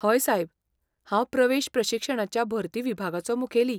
हय सायब, हांव प्रवेश प्रशिक्षणाच्या भरती विभागाचो मुखेली.